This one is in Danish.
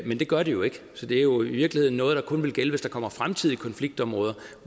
men det gør det jo ikke så det er jo i virkeligheden noget der kun vil gælde hvis der kommer fremtidige konfliktområder